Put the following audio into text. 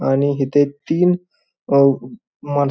आणि हीते तीन अं माण--